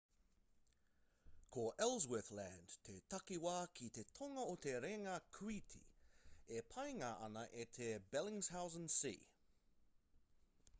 ko ellsworth land te takiwā ki te tonga o te raenga kūiti e paengia ana e te bellingshausen sea